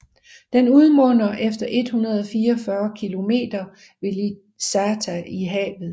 Den udmunder efter 144 kilometer ved Licata i havet